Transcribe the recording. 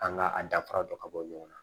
An ka a danfara dɔ ka bɔ ɲɔgɔn na